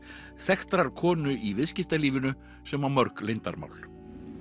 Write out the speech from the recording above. þekktrar konu í viðskiptalífinu sem á mörg leyndarmál